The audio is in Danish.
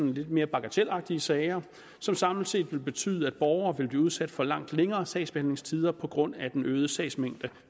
lidt mere bagatelagtige sager som samlet set vil betyde at borgere vil blive udsat for langt længere sagsbehandlingstider på grund af den øgede sagsmængde